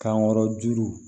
Kankɔrɔ juru